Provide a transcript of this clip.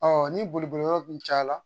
ni boli boli yɔrɔ dun caya la